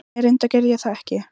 Nei reyndar gerði ég það ekki.